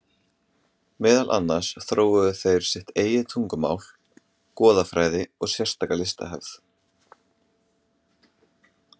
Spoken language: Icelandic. Meðal annars þróuðu þeir sitt eigið tungumál, goðafræði og sérstaka listahefð.